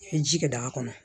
I ye ji kɛ daga kɔnɔ